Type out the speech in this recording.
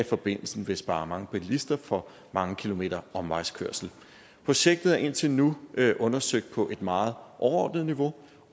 forbindelsen vil spare mange bilister for mange kilometers omvejskørsel projektet er indtil nu undersøgt på et meget overordnet niveau